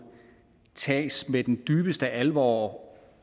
tages med den dybeste alvor